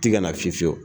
Tɛgɛ na fiye fiyew